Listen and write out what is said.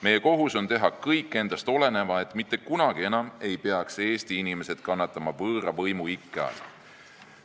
Meie kohus on teha kõik endast olenev, et mitte kunagi enam ei peaks Eesti inimesed kannatama võõra võimu ikke all.